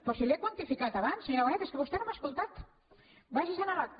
però si li he quantificat abans senyora bonet és que vostè no m’ha escoltat vagi se’n a l’acta